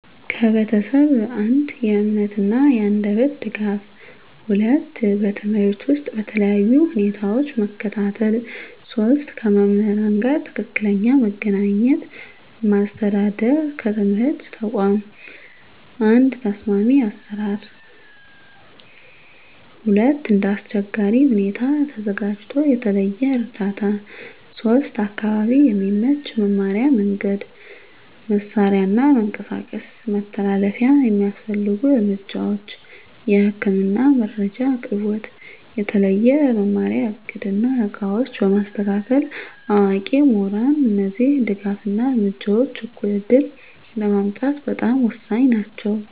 ከቤተሰብ፦ 1. የእምነት እና የአንደበት ድጋፍ 2. በትምህርት ውስጥ በተለያዩ ሁኔታዎች መከታተል 3. ከመምህራን ጋር ትክክለኛ መገናኘት ማስተዳደር ከትምህርት ተቋም፦ 1. ተስማሚ አሰራር 2. እንደ አስቸጋሪ ሁኔታ ተዘጋጅቶ የተለየ እርዳታ 3. አካባቢ የሚመች መማሪያ መንገድ፣ መሳሪያ እና መንቀሳቀስ መተላለፊያ የሚያስፈልጉ እርምጃዎች፦ የህክምና መረጃ አቅርቦት፣ የተለየ መማሪያ እቅድ እና ዕቃዎች በማስተካከል፣ አዋቂ ምሁራን እነዚህ ድጋፍ እና እርምጃዎች እኩል ዕድል ለማምጣት በጣም ወሳኝ ናቸው።